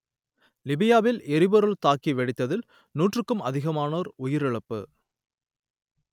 லிபியாவில் எரிபொருள் தாங்கி வெடித்ததில் நூற்றுக்கும் அதிகமானோர் உயிரிழப்பு